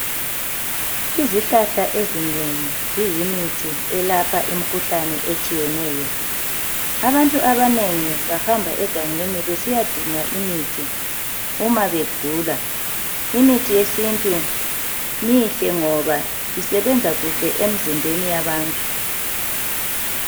Izihlahla ezinengi, ziyimithi eyelapha izifo ezitshiyeneyo. Abantu abanengi baya egangeni, ukuyadinga imithi yesintu, nxa begula. Mihle yona ngoba isebenza kuhle emzimbeni yabantu.